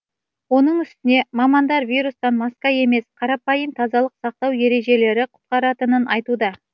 оның үстіне мамандар вирустан маска емес қарапайым тазалық сақтау ережелері құтқаратынын айтуда